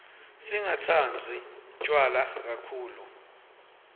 singatsandzi tjwala kakhulu